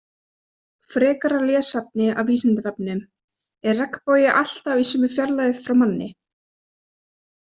Frekara lesefni af Vísindavefnum: Er regnbogi alltaf í sömu fjarlægð frá manni?